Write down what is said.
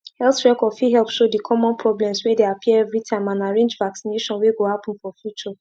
health record fit help show the common problems way they appear every time and arrange vaccination way go happen for future